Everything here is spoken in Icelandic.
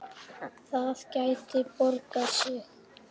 Það gæti borgað sig.